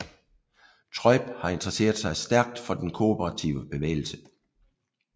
Treub har interesseret sig stærkt for den kooperative bevægelse